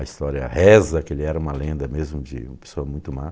A história reza que ele era uma lenda mesmo, de uma pessoa muito má.